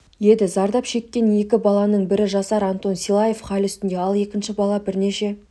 еді зардап шеккен екі баланың бірі жасар антон силаев хал үстінде ал екінші бала бірнеше